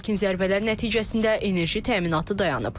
Lakin zərbələr nəticəsində enerji təminatı dayanıb.